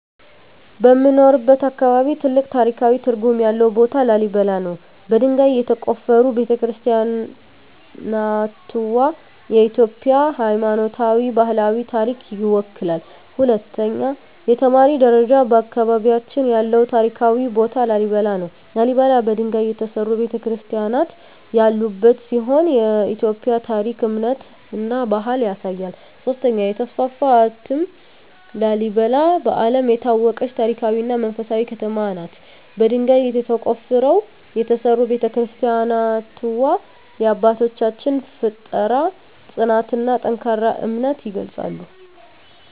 በምኖርበት አካባቢ ትልቅ ታሪካዊ ትርጉም ያለው ቦታ ላሊበላ ነው። በድንጋይ የተቆፈሩ ቤተ-ክርስቲያናትዋ የኢትዮጵያን ሃይማኖታዊና ባህላዊ ታሪክ ይወክላሉ። 2) የተማሪ ደረጃ በአካባቢያችን ያለው ታሪካዊ ቦታ ላሊበላ ነው። ላሊበላ በድንጋይ የተሠሩ ቤተ-ክርስቲያናት ያሉበት ሲሆን የኢትዮጵያን ታሪክ፣ እምነትና ባህል ያሳያል። 3) የተስፋፋ እትም ላሊበላ በዓለም የታወቀች ታሪካዊ እና መንፈሳዊ ከተማ ናት። በድንጋይ ተቆፍረው የተሠሩ ቤተ-ክርስቲያናትዋ የአባቶቻችንን ፍጠራ፣ ጽናትና ጠንካራ እምነት ይገልጻሉ።